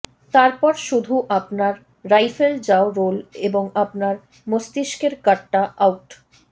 তারপর শুধু আপনার রাইফেল যাও রোল এবং আপনার মস্তিষ্কের গাট্টা আউট